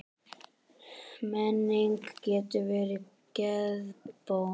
Menning getur verið geðbót.